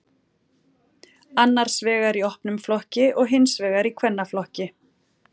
Annars vegar í opnum flokki og hins vegar í kvennaflokki.